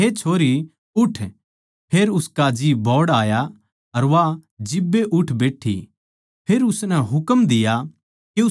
फेर उसका जी बोहड़ आया अर वा जिब्बे उठ बैट्ठी फेर उसनै हुकम दिया के उसनै कुछ खाण नै द्यो